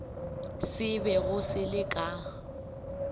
se bego se le ka